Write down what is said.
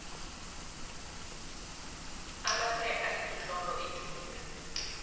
amaphepha imitlolo ethunyelweko